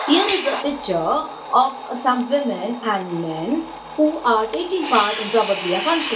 here is a picture of some women and men who are taking part in probably a function.